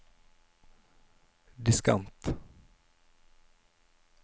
diskant